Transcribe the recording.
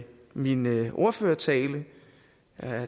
min ordførertale